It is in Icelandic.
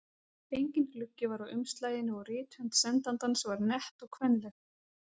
Enginn gluggi var á umslaginu og rithönd sendandans var nett og kvenleg.